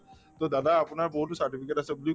‍to দাদা আপোনাৰ বহুতো certificate আছে বুলি